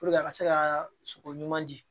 a ka se ka sogo ɲuman di